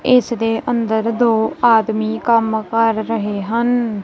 ਇਸ ਦੇ ਅੰਦਰ ਦੋ ਆਦਮੀ ਕੰਮ ਕਰ ਰਹੇ ਹਨ।